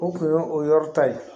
O tun ye o yɔrɔ ta ye